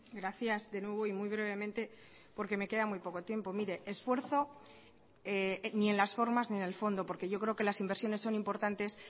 gracias de nuevo y muy brevemente porque me queda muy poco tiempo mire esfuerzo ni en las formas ni en el fondo porque yo creo que las inversiones son importantes